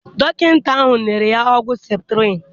Dọkịta ahụ nyere ya ọgwụ septrin